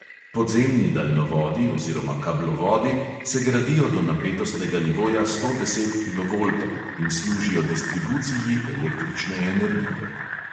Podzemni daljnovodi oziroma kablovodi se gradijo do napetostnega nivoja sto deset kilovoltov in služijo distribuciji električne energije.